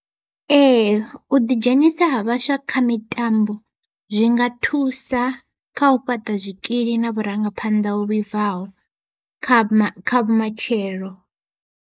Ee u ḓi dzhenisa ha vhaswa kha mitambo, zwi nga thusa kha u fhaṱa zwikili na vhurangaphanḓa ho vhibvaho kha kha vhumatshelo.